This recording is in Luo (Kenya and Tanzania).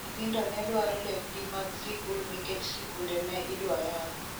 Nyithindo ne dwaro lep gi mag sikul nikech sikunde ne idwa yaw.